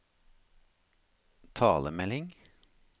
talemelding